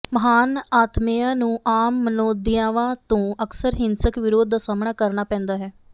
ਮਹਾਨ ਆਤਮੇਆ ਨੂੰ ਆਮ ਮਨੋਦਿਆਵਾਂ ਤੋਂ ਅਕਸਰ ਹਿੰਸਕ ਵਿਰੋਧ ਦਾ ਸਾਹਮਣਾ ਕਰਨਾ ਪੈਂਦਾ ਹੈ